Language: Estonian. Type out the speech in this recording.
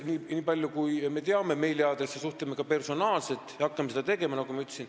Nii palju kui me teame meiliaadresse, suhtleme ka personaalselt ja hakkamegi seda tegema, nagu ma ütlesin.